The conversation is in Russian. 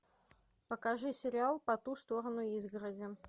покажи сериал по ту сторону изгороди